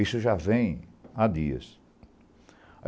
Isso já vem há dias.